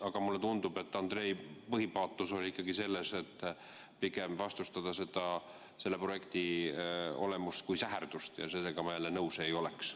Aga mulle tundub, et Andrei põhipaatos oli ikkagi selles, et pigem vastustada selle projekti olemust kui säherdust, ja sellega ma jälle nõus ei oleks.